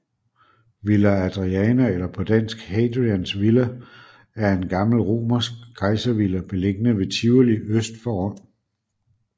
Villa Adriana eller på dansk Hadrians villa er en gammel romersk kejservilla beliggende ved Tivoli øst for Rom